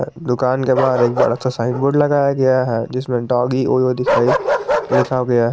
दुकान के बाहर एक बड़ा सा साइन बोर्ड लगाया गया है जिसमें डॉगी ओयो दिखाई लिखा गया है।